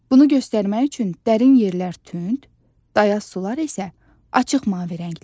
Bunu göstərmək üçün dərin yerlər tünd, dayaz sular isə açıq mavi rənglənir.